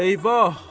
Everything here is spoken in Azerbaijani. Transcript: Eyvah!